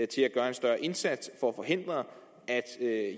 til at gøre en større indsats for at forhindre at